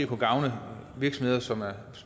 kan gavne virksomheder som